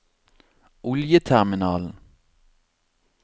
oljeterminalen